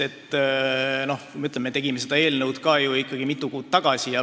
Me tegime seda eelnõu ju ikkagi mitu kuud tagasi.